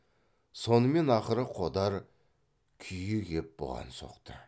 сонымен ақыры қодар күйі кеп бұған соқты